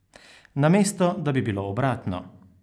Namesto da bi bilo obratno.